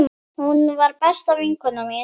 Hún var besta vinkona mín.